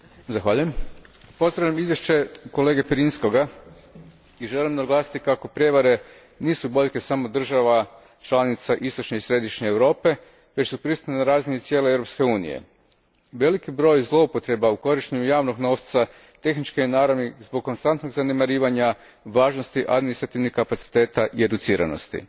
Gospođo predsjednice, pozdravljam izvješće kolege Pirinskog i želim naglasiti kako prijevare nisu boljke samo država članica istočne i središnje Europe, već su prisutne na razini cijele Europske unije. Veliki broj zloupotreba u korištenju javnog novca tehničke je naravi zbog konstantnog zanemarivanja važnosti administrativnih kapaciteta i educiranosti.